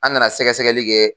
An nana sɛgɛsɛgɛli kɛ.